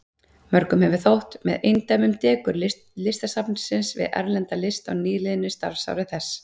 Mörgum hefur þótt með eindæmum dekur Listasafnsins við erlenda list á nýliðnu starfsári þess.